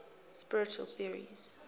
spiritual theories